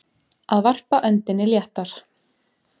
Að varpa öndinni léttar